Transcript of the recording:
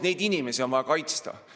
Neid inimesi on vaja kaitsta.